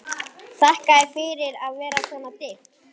Þakkaði fyrir að það var svona dimmt.